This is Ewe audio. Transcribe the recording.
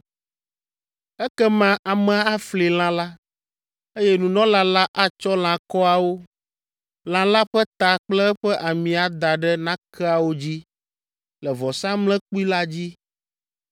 Ekema amea afli lã la, eye nunɔla la atsɔ lãkɔawo, lã la ƒe ta kple eƒe ami ada ɖe nakeawo dzi le vɔsamlekpui la dzi.